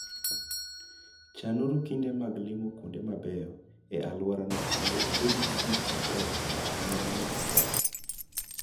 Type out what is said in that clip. Chanuru kinde mag limo kuonde mabeyo e alworano mondo ubed gi gik mabeyo ahinya munyalo paro.